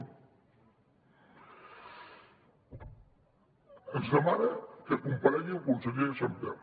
ens demana que comparegui el conseller sàmper